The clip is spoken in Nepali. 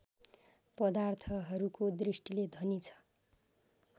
पदार्थहरूको दृष्टिले धनी छ